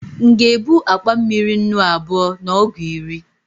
m'ga ebu akpa mmiri nnù abua na ọgu iri?